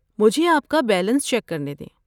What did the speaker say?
مجھے آپ کا بیلنس چیک کرنے دیں۔